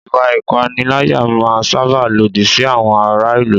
Ìwà ìpániláyà máa n sáábà lòdì sí àwọn ará ìlú